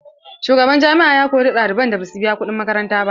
Shugaban jami'a ya kori ɗaliban da basu biya kuɗin makaranta ba.